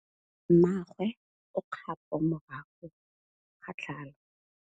Mmagwe o kgapô morago ga tlhalô.